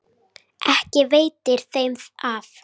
Ekki veitir þeim af.